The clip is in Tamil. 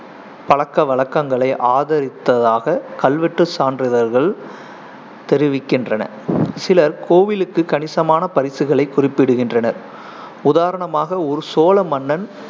பழக்கவழக்கங்களை ஆதரித்ததாக கல்வெட்டு சான்றுதல்கள் தெரிவிக்கின்றன சிலர் கோவிலுக்கு கணிசமான பரிசுகளை குறிப்பிடுகின்றனர். உதாரணமாக, ஒரு சோழ மன்னன்